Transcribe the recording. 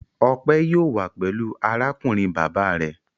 Ọpẹ yóò wá pẹ̀lú arákùnrin bàbá rẹ̀.